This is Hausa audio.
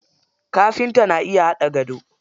Kafinta na iya haɗa gado.